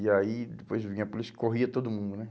E aí depois vinha a polícia, corria todo mundo, né?